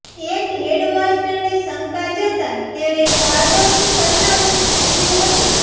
એક હેડમાસ્ટરને શંકા જતા તેણે ભાર્ગવનું સરનામુ પુછ્યું હતુ